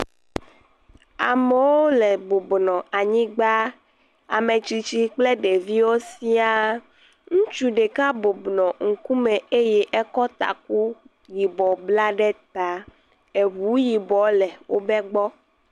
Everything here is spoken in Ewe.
Amewo le bɔbɔ nɔ anyigba, ametsitsi kple ɖeviwo siaa. Ŋutsu ɖeka bɔbɔ nɔ ŋkume, eye ekɔ taku yibɔ bla ɖe ta. Eŋu yibɔ le wobe gbɔ.